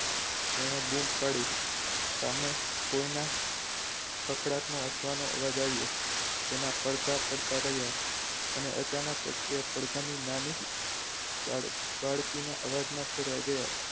તેને બૂમ પાડી સામે કોઈના કાકડાટનો હસવાનો અવાજ આવ્યો તેના પડઘા પડતા રહ્યા અને અચાનક જ ત્યાં પડઘા ની નાની બાળકીને અવાજમાં ફેરવાઈ ગયા હતા.